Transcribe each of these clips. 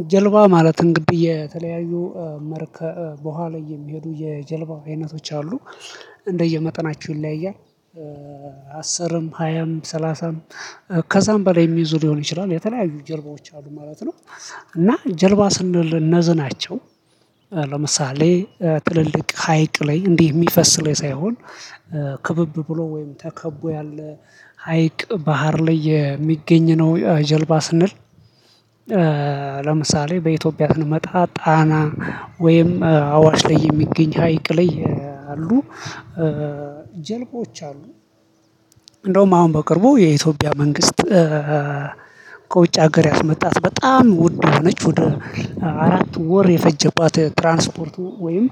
አንድ ጀልባ ማለት እንግዲህ የተለያዩ መርከብ በኋላ የሚሄዱ የጀልባ አይነቶች አሉ እንደየመጠናቸው ይለያያል። አስርም ሀያም ሰላሳም ከዛም በላይ የሚየዙ ሊሆን ይችላል የተለያዩ ጀልባዎች አሉ ማለት ነው። እና ጀልባ ስንል እነዝ ናቸው። ለምሳሌ ትልልቅ ሀይቅ ላይ እንዲህ የሚፈስ ላይ ሳይሆን ክብብ ብሎ ወይም ተከቦ ያለ ሀይቅ ባህር ላይ የሚገኝ ነው ጀልባ ስንል። ለምሳሌ በኢትዮጵያ ስንመጣ ጣና ወይም አዋሽ ላይ የሚገኝ ሀይቅ ላይ አሉ። ጀልባዎች አሉ። እንደውም አሁን በቅርቡ የኢትዮጵያ መንግስት። ከውጭ ሀገር ያስመጣት በጣም ውድ የሆነች ወደ አራት ወር የፈጀባት ትራንስፖርት ወይም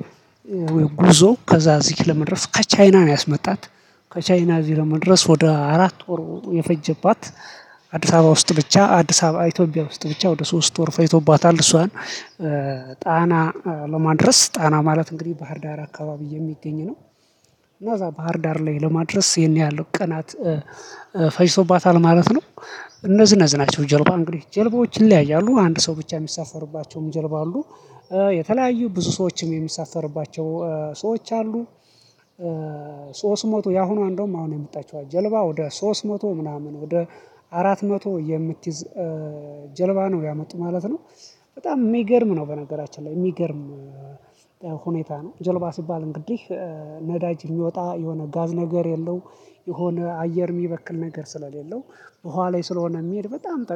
ወይ ጉዞ ከዛ እዚህ ለመድረስ ከቻይና ነው ያስመጣት። ከቻይና እዚህ ለመድረስ ወደ አራት ወር የፈጀባት። አዲስ አበባ ውስጥ ብቻ አዲስ አበባ ኢትዮጵያ ውስጥ ብቻ ወደ ሶስት ወር ፈጅቶባታል እሷን። ጣና ለማድረስ ጣና ማለት እንግዲህ ባህር ዳር አካባቢ የሚገኝ ነው። እና እዛ ባህር ዳር ላይ ለማድረስ ይሄን ያህል ቀናት ፈጅቶባታል ማለት ነው። እነዚህ እነዚህ ናቸው ጀልባ እንግዲህ ጀልባዎች ይለያያሉ አንድ ሰው ብቻ የሚሳፈሩባቸውም ጀልባ አሉ። የተለያዩ ብዙ ሰዎችም የሚሳፈርባቸው ሰዎች አሉ። ሶስት መቶ ያሁኑ እንደውም አሁን የመጣችው ጀልባ ወደ ሶስት መቶ ምናምን ወደ አራት መቶ የምትይዝ ጀልባ ነው ያመጡት ማለት ነው። በጣም የሚገርም ነው። በነገራችን ላይ የሚገርም ሁኔታ ነው። ጀልባ ሲባል እንግዲህ ነዳጅ የሚያወጣ የሆነ ጋዝ ነገር የለው የሆነ አየር የሚበክል ነገር ስለሌለው ውሃ ላይ ስለሆነ የሚሄድ በጣም